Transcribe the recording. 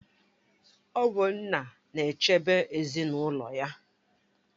Ọ bụ nna na-echebe ezinụlọ ya.